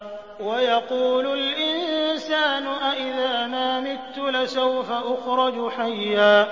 وَيَقُولُ الْإِنسَانُ أَإِذَا مَا مِتُّ لَسَوْفَ أُخْرَجُ حَيًّا